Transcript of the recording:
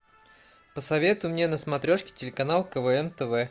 посоветуй мне на смотрешке телеканал квн тв